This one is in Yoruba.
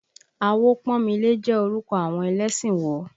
Awopọ́nmilé jẹ́ orúkọ àwọn ẹlẹ́sìn wo?